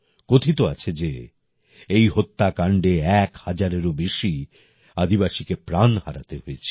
কথিত আছে যে এই হত্যাকাণ্ডে এক হাজারেরও বেশি আদিবাসীকে প্রাণ হারাতে হয়েছিল